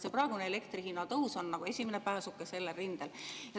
See praegune elektri hinna tõus on esimene pääsuke sellel rindel.